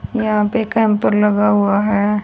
यहां पे कैंप लगा हुआ है।